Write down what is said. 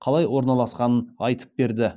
қалай орналасқанын айтып берді